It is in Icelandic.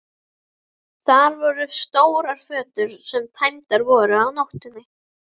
Þar voru stórar fötur sem tæmdar voru á nóttinni.